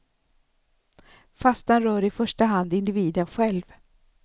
Fastan rör i första hand individen själv.